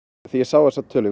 þegar ég sá þessa tölu